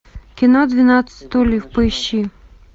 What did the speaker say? кино двенадцать стульев поищи